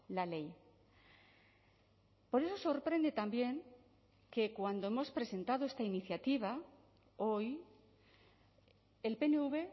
la ley por eso sorprende también que cuando hemos presentado esta iniciativa hoy el pnv